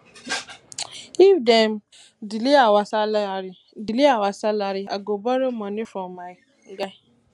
if dem delay our salary delay our salary i go borrow moni from my guy